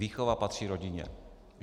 Výchova patří rodině.